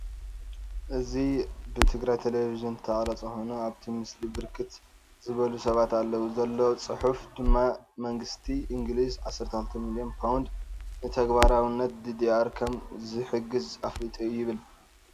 እዚ ብትግራይ ቴሌቪዥን ዝተቀረፀ ኮይኑ አብቲ ምስሊ ብርክት ዝበሉ ሰባት አለዉ፡፡ ዘሎ ፅሑፍ ድማ መንግስቲ እንግሊዝ 16 ሚልዮን ፓውንድ ንተግባራዊነት ዲዲአር ከም ዝሕግዝ አፍሊጡ ይብል፡፡